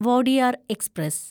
Wodeyar express